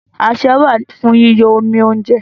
Asẹ́ wà fún yíyọ́ omi óúnjẹ.